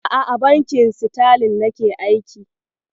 A'a, a bankin Sitalin nake aiki.